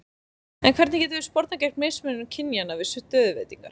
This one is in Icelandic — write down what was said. En hvernig getum við spornað gegn mismunun kynjanna við stöðuveitingar?